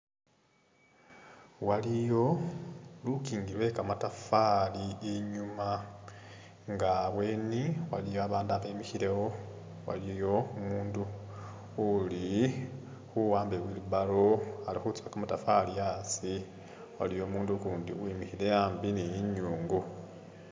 Waliyo lukingi lwe kamatafali i'nyuma nga abweni waliyo babandu abemikhilewo, waliyo umundu uli khuwamba i'wheeelbarrow ali khutsukha kamatafali a'asi, waliwo umundu ukundi uwimikhile a'ambi ni i'nyungu